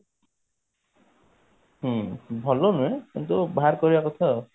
ହୁଁ ଭଲ ନୁହେଁ କିନ୍ତୁ ବାହାର କରିବା କଥା ଆଉ